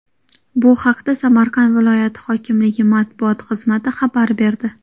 Bu haqda Samarqand viloyati hokimligi matbuot xizmati xabar berdi .